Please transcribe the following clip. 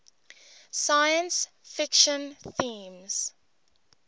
science fiction themes